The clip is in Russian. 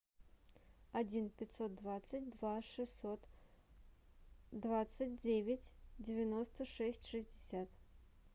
один пятьсот двадцать два шестьсот двадцать девять девяносто шесть шестьдесят